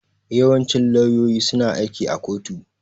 Yawancin lauyoyi suna aiki a kotu.